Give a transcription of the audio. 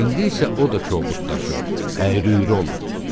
İndi isə o da çovublaşıb, əyri-üyrü olub.